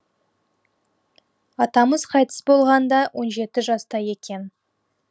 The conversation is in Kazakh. атамыз қайтыс болғанда он жеті жаста екен